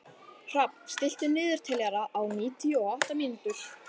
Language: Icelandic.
Hrafn, stilltu niðurteljara á níutíu og átta mínútur.